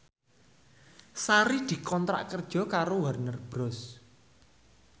Sari dikontrak kerja karo Warner Bros